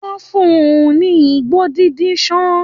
Wọ́n fún un ní igbó dídí ṣán